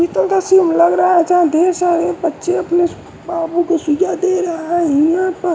पीतल का सीन लग रहा है यहाँ ढेर सारे बच्चे और सूचना दे रहा है।